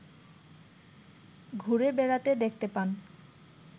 ঘুরে বেড়াতে দেখতে পান